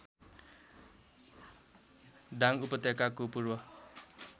दाङ उपत्यकाको पूर्व